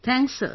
Thanks sir